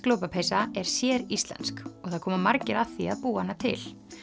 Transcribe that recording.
lopapeysa er séríslensk og það koma margir að því að búa hana til